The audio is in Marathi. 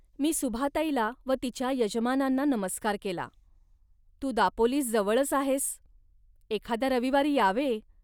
मी सुभाताईला व तिच्या यजमानांना नमस्कार केला. तू दापोलीस जवळच आहेस, एखाद्या रविवारी यावे